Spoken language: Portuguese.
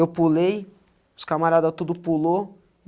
Eu pulei, os camarada tudo pulou.